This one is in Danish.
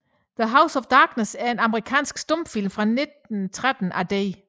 The House of Darkness er en amerikansk stumfilm fra 1913 af D